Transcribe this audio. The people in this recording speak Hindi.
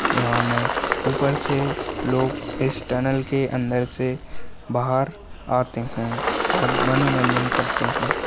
यहाँ मे ऊपर से लोग इस टनल के अंदर से बाहर आते है और मानोनंजन करते है।